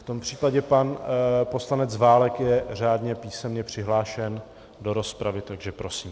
V tom případě pan poslanec Válek je řádně písemně přihlášen do rozpravy, takže prosím.